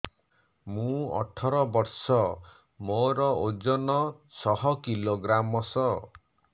ମୁଁ ଅଠର ବର୍ଷ ମୋର ଓଜନ ଶହ କିଲୋଗ୍ରାମସ